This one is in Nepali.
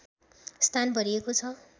स्थान भरिएको छ